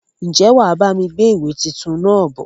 Ń jẹ́ wá bami gbé ìwé tuntun náà bọ̀?